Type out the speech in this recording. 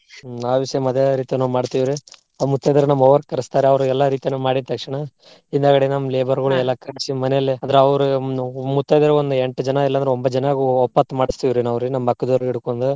ಆ ವಿಷಯ ಮದ್ವೆ ಮಾಡ್ತೇವ್ರಿ. ಮುತೈದೆಯ್ರಿನ ನಮ್ಮ ಅವ್ವಾರ್ ಕರಸ್ತಾರ ಅವ್ರಿಗೆಲ್ಲಾ ಎಲ್ಲ ರೀತಿ ಮಾಡಿದ ತಕ್ಷಣ ಹಿಂದಾಗಡೆ ನಮ್ಮ labour ಗೊಳಿಗೆಲ್ಲಾ ಕರ್ಸಿ ಮನೆಯಲ್ಲೆ ಅಂದ್ರ ಅವ್ರ ಹ್ಮ್ ಮುತೈದೆಯರ ಒಂದ್ ಎಂಟ್ ಜನ ಇಲ್ಲಾ ಅಂದ್ರ ಒಂಬತ್ತ್ ಜನಕ್ಕ ಒಪ್ಪತ್ ಮಾಡಸ್ತೇವ್ರಿ ನಾವ್ರಿ ನಮ್ಮ ಪಕ್ಕದವರ್ ಹಿಡ್ಕೊಂಡ್.